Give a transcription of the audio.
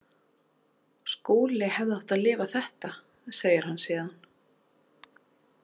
Skúli hefði átt að lifa þetta, segir hann síðan.